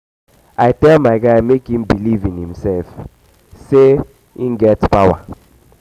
i tell my guy sey make im believe in imsef sey in imsef sey im get power.